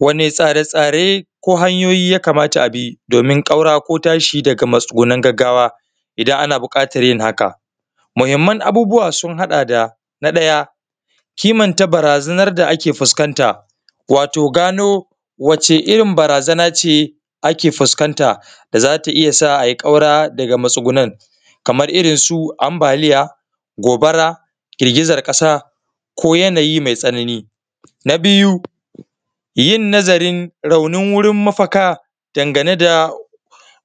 Wani tsare-tsare ko hanyoyi ya kamata abi domin ƙaura ko tashi daga matsugunan gaggawa idan ana buƙatan yin haka? Muhimman abubuwa sun haɗa da: Na ƙaya kimanta barazanar da ake fuskanta, wato gano wacce irin barazana ce ake fuskanta da zata iya sa ai ƙaura daga matsugunan, kamar irin su ambaliya, gobara, girgizan ƙasa, ko yanayi mai tsanani. Na biyu yin nazarın raunin wurin mafaka dangane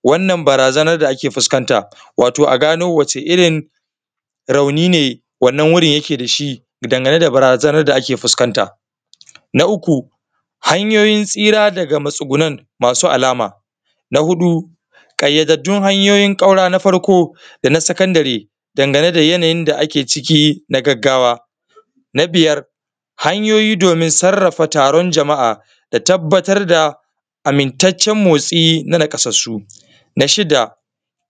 wannan barazanar da ake fuskanta, wato a gano wace irin rauni ne wannan wurin yike dashi dangane da barazanar da ake fuskanta. Na uku hanyoyin tsira daga matsugunan masu alama. Na huɗu ƙayyadadun hanyoyin ƙaura, na farko dana sakandire dangane da yanayin da ake ciki na gaggawa. Na biyar hanyoyi domin sarrafa taron jama’a da tabbatar da amintaccen motsi na naƙasassu. Na shida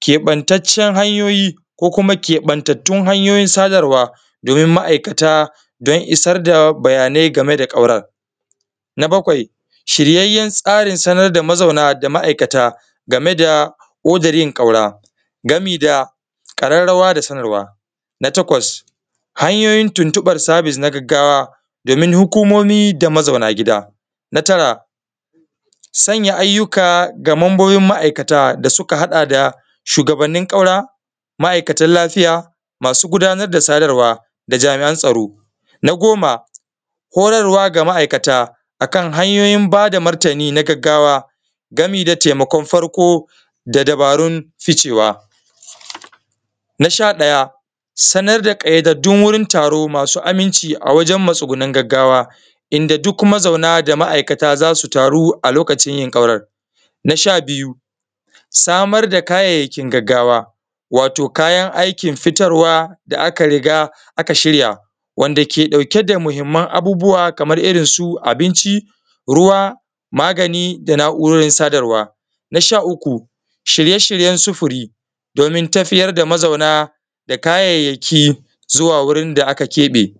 keɓantacen hanyoyi ko kuma keɓantattun hanyiyon sadarwa domin ma’aikata don isar da bayanai game da ƙauran. Na bakwai shiryayyen tsarin sanar da mazauna da ma’aikata game da odar yin ƙaura, gami da ƙararrawa da sanarwa. Na takwas hanyoyin tuntuɓar sabis na gaggawa domin hukumomi da mazauna gida. Na tara sanya ayyuka ga mambobin ma’aikata da suka haɗa da shugabanin ƙaura, ma’aikatan lafiya, masu gudanar da sadarwa da jami’an tsaro. Na goma horarwa ga ma’aikata akan hanyoyin bada martani na gaggawa gami da taimakon farko, da dabarun ficewa. Na sha ɗaya sanar da kayyadaddun wurin taro masu aminci a wajen matsugunin gaggawa, inda duk mazauna da ma’aikata za su taro a lokacin yin ƙauran. Na sha biyu samar da kayayyakin gaggawa wato kayan aikin fitarwa da aka riga aka shirya, wanda ke ƙauke da muhimman abubuwa, kamar irin su abinci, ruwa, magani da na’urorin sadarwa. Na sha uku shirye-shiryen sufuri domin tafiyar da mazauna da kayayyaki zuwa wurin da aka keɓe.